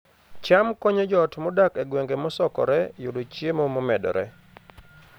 cham konyo joot modak e gwenge mosokore yudo chiemo momedore